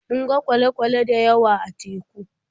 Mun ga kwale-kwale da yawa a teku.